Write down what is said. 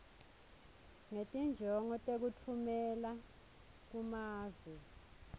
ngetinjongo tekutfumela kumave